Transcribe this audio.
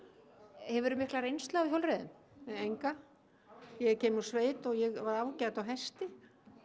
hefurðu mikla reynslu af hjólreiðum enga ég kem úr sveit og ég var ágæt á hesti